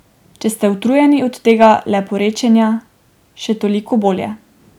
Če ste utrujeni od tega leporečenja, še toliko bolje.